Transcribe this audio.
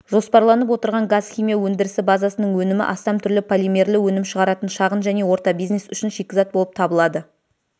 жоспарланып отырған газ химия өндірісі базасының өнімі астам түрлі полимерлі өнім шығаратын шағын және орта бизнес үшін шикізат болып табылады